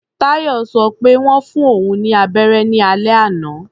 Táyọ̀ sọ pé wọ́n fún òun ní abẹ́rẹ́ ní alẹ́ àná.